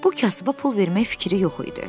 Bu kasıba pul vermək fikri yox idi.